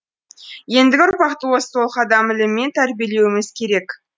ендігі ұрпақты осы толық адам ілімімен тәрбиелеуіміз керек